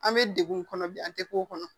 An bɛ degun kɔnɔ bi an tɛ k'o kɔnɔ